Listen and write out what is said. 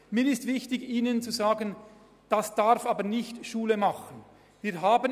Es ist mir wichtig, darauf hinzuweisen, dass dies nicht Schule machen darf.